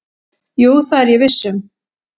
"""Jú, það er ég viss um."""